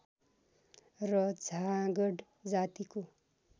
र झाँगड जातिको